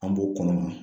An b'o kɔnɔma